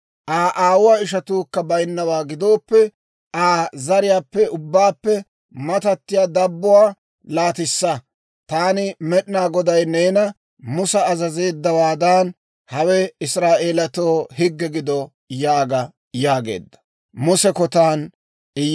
Aa aawuwaa ishatuukka baynnawaa gidooppe, Aa zariyaappe ubbaappe matattiyaa dabbuwaa laatissa. Taani Med'inaa Goday neena Musa azazeeddawaadan, hawe Israa'eelatoo higge gido› yaaga» yaageedda.